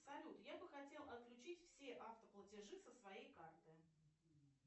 салют я бы хотела отключить все автоплатежи со своей карты